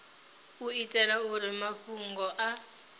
u itela uri mafhungo a